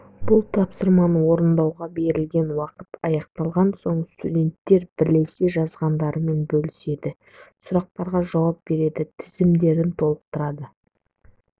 бұл тапсырманы орындауға берілген уақыт аяқталған соң студенттер бірлесе жазғандарымен бөліседі сұрақтарға жауап береді тізімдерін толықтырады